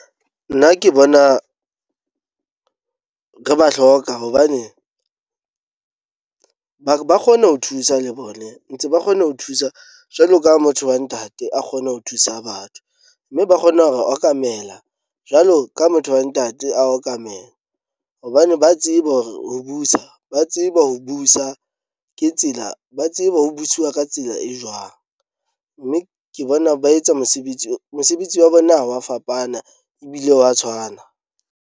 Nna ke bona re ba hloka hobane ba ba kgone ho thusa le bone. Ntse ba kgone ho thusa jwalo ka motho wa ntate a kgone ho thusa batho, mme ba kgona ho re okamela jwalo ka motho wa ntate a okamela. Hobane ba tsebe hore ho busa ba tsebe ho busa ke tsela ba tsebe ho buswa ka tsela e jwang. Mme ke bona ba etsa mosebetsi mosebetsi wa bona ha wa fapana ebile wa tshwana.